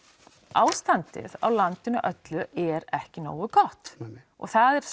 ástandið á landinu öllu er ekki nógu gott og það er